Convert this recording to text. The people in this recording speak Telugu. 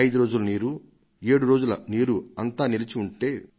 ఐదు రోజులు నీరు ఏడు రోజులు నీరు అంతా నిలచి ఉంటే